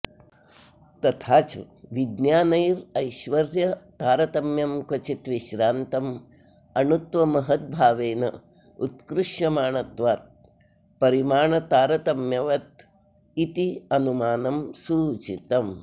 तथा च विज्ञानैश्वर्यतारतम्यं क्वचिद् विश्रान्तम् अणुत्वमहद्भावेनोत्कृष्यमाणत्वात् परिमाणतारतम्यवद् इत्यनुमानं सूचितम्